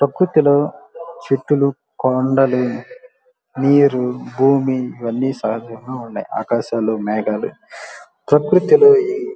ప్రకృతిలో చెట్లు కొండలు నీరు భూమి ఇవన్నీ సహజంగా ఉన్నాయి ఆకాశాలు మేఘాలు ప్రకృతిలో ఈ --